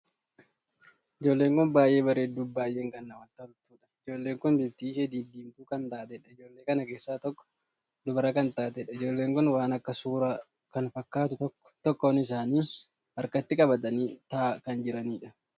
Ijoolleen kun baay'ee bareedduu fi baay'ee kan namatti toltuudha. ijoollee kun bifti ishee didiimtuu kan taateedha. ijoollee kana keessaa tokko dubara kan taateedha. ijoolleen kun waan akka suuraa kan fakkaatuu tokkoo tokkoon isaanii harkatti qabatanii taa'aa kan jiraniidha.